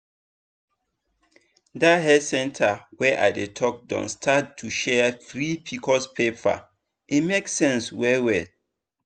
that health center wey i dey talk don start to share free pcos paper e make sense well well.